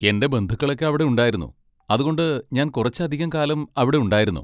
എൻ്റെ ബന്ധുക്കളൊക്കെ അവിടെ ഉണ്ടായിരുന്നു, അതുകൊണ്ട് ഞാൻ കുറച്ചധികം കാലം അവിടെ ഉണ്ടായിരുന്നു.